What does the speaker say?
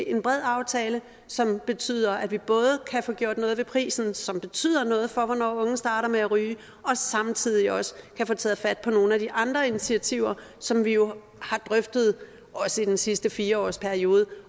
en bred aftale som betyder at vi både kan få gjort noget ved prisen som betyder noget for hvornår unge starter med at ryge og samtidig også kan få taget fat på nogle af de andre initiativer som vi jo har drøftet i den sidste fire årsperiode